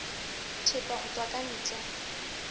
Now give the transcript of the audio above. thepa ho tswa ka ntle